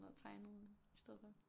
Og tegnede i stedet for